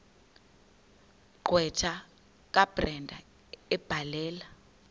gqwetha kabrenda ebhalela